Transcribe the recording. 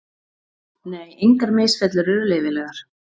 Nei, engar misfellur eru leyfilegar.